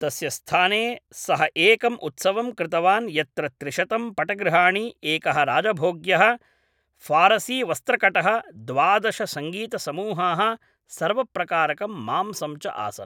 तस्य स्थाने सः एकं उत्सवं कृतवान् यत्र त्रिशतं पटगृहाणि एकः राजभॊग्यः फारसीवस्त्रकटः द्वादश सङ्गीतसमूहाः सर्वप्रकारकं मांसं च आसन्